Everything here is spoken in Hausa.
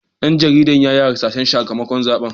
Dan jaridar ya yi hasashen sakamakon zaben.